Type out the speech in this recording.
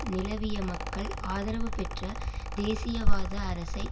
நிலவிய மக்கள் ஆதரவுபெற்ற தேசியவாத அரசை